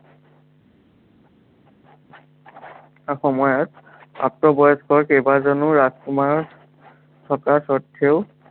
সময়ত প্ৰাপ্তবয়স্ক কেইবাজনো ৰাজকুমাৰ, থকা স্বত্ত্বেও